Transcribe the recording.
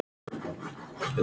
Ég er ekki blíð.